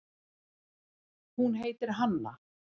Hún heitir Hanna.